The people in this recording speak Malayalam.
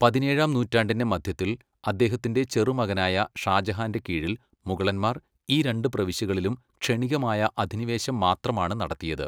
പതിനേഴാം നൂറ്റാണ്ടിന്റെ മധ്യത്തിൽ അദ്ദേഹത്തിന്റെ ചെറുമകനായ ഷാജഹാന്റെ കീഴിൽ മുഗളന്മാർ ഈ രണ്ട് പ്രവിശ്യകളിലും ക്ഷണികമായ അധിനിവേശം മാത്രമാണ് നടത്തിയത്.